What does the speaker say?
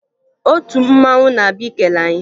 Otu mmanwụ na-abịa ikele anyị